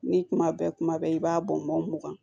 Ni kuma bɛ kuma bɛɛ i b'a bɔn mugan